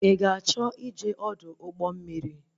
Ị ga-achọ ịje Ọdụ ụgbọ mmiri?